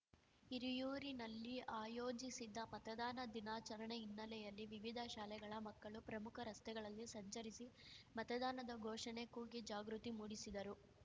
ಹಿರಿಯೂರಿನಲ್ಲಿ ಆಯೋಜಿಸಿದ್ದ ಮತದಾನ ದಿನಾಚರಣೆ ಹಿನ್ನೆಲೆಯಲ್ಲಿ ವಿವಿಧ ಶಾಲೆಗಳ ಮಕ್ಕಳು ಪ್ರಮುಖ ರಸ್ತೆಗಳಲ್ಲಿ ಸಂಚರಿಸಿ ಮತದಾನದ ಘೋಷಣೆ ಕೂಗಿ ಜಾಗೃತಿ ಮೂಡಿಸಿದರು